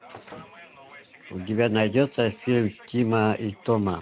у тебя найдется фильм тима и тома